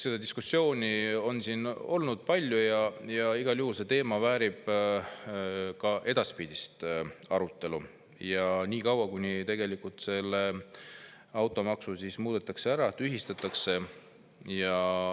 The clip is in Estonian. Seda diskussiooni on siin olnud palju ja igal juhul see teema väärib ka edaspidist arutelu, senikaua, kuni seda automaksu muudetakse või see tühistatakse.